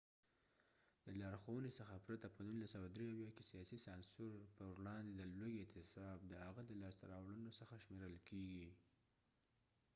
د لارښونې څخه پرته په ۱۹۷۳ کې سیاسې سانسور پروړاندې د لوږې اعتصاب د هغه د لاسته راوړنو څخه شمیرل کیږي